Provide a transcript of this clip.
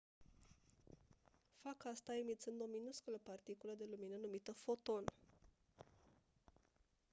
fac asta emițând o minusculă particulă de lumină numită «foton».